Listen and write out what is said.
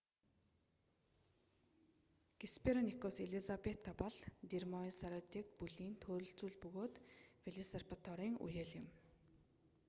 геспероникус элизабета бол дромаеосауридэ бүлийн төрөл зүйл бөгөөд велосирапторын үеэл юм